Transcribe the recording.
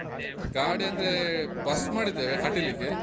ಗಾಡಿ ಅಂದ್ರೇ, bus ಮಾಡಿದ್ದೇವೆ ಕಟೀಲಿಗೆ.